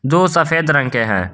दो सफेद रंग के है।